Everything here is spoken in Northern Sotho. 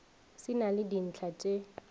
se na le dintlha tše